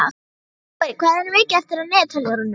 Ljúfur, hvað er mikið eftir af niðurteljaranum?